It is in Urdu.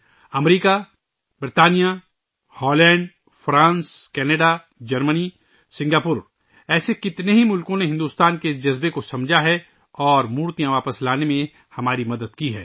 امریکہ، برطانیہ، ہالینڈ، فرانس، کناڈا ، جرمنی، سنگاپور، ایسے کئی ممالک نے بھارت کے جذبات کو سمجھا ہے اور مورتیاں واپس لانے میں ہماری مدد کی ہے